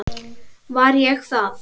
Var ég það?